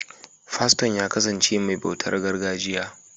Faston ya kasance mai bautar gargajiya.